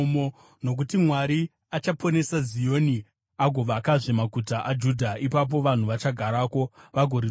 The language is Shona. nokuti Mwari achaponesa Zioni agovakazve maguta aJudha. Ipapo vanhu vachagarako, vagoritora;